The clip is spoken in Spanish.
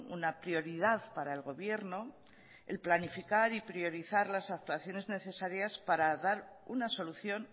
una prioridad para el gobierno el planificar y priorizar las actuaciones necesarias para dar una solución